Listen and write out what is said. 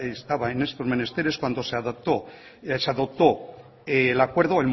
estaba en estos menesteres cuando se adoptó el acuerdo